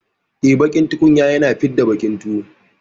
Eh, baƙin tukunya na fidda baƙin tuwo.